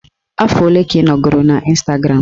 Afọ ole ka ị nọgoro n'Ịstagram?